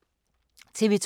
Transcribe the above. TV 2